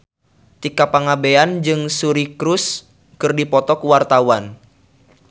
Tika Pangabean jeung Suri Cruise keur dipoto ku wartawan